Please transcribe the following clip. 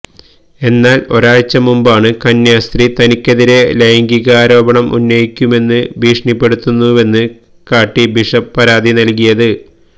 എന്നാൽ ഒരാഴ്ച മുമ്പാണ് കന്യാസ്ത്രീ തനിക്കെതിരെ ലൈംഗികാരോപണം ഉന്നയിക്കുമെന്ന് ഭീഷണിപ്പെടുത്തുന്നുവെന്ന് കാട്ടി ബിഷപ്പ് പരാതി നൽകിയത്